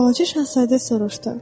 Balaca şahzadə soruşdu: